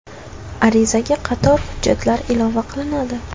Arizaga qator hujjatlar ilova qilinadi.